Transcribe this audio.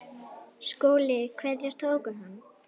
SKÚLI: Hverjir tóku hann?